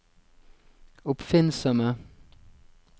oppfinnsomme